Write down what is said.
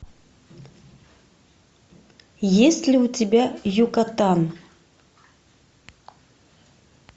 есть ли у тебя юкатан